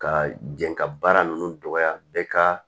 Ka jɛn ka baara ninnu dɔgɔya bɛɛ ka